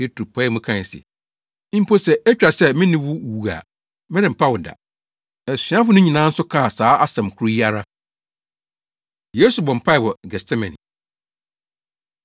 Petro pae mu kae se, “Mpo sɛ etwa sɛ me ne wo wu a, merempa wo da!” Asuafo no nyinaa nso kaa saa asɛm koro yi ara. Yesu Bɔ Mpae Wɔ Getsemane